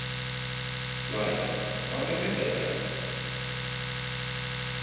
Blær, hvað er að frétta í dag?